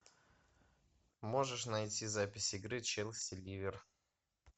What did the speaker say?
можешь найти запись игры челси ливер